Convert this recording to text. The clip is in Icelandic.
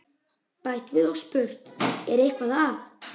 Bætt við og spurt: Er eitthvað að?